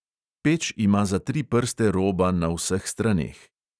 Peč ima za tri prste roba na vseh straneh.